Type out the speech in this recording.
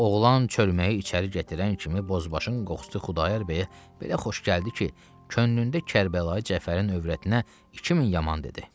Oğlan çölməyi içəri gətirən kimi bozbaşın qoxusu Xudayar bəyə belə xoş gəldi ki, könlündə Kərbəlayı Cəfərin övrətinə iki min yaman dedi.